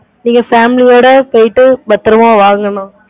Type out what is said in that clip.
நீங்க family ஓட போயிட்டு பத்திரமா வாங்க.